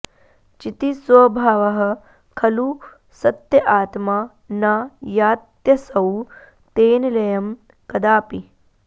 चितिस्वभावः खलु सत्य आत्मा न यात्यसौ तेन लयं कदाऽपि